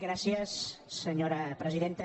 gràcies senyora presidenta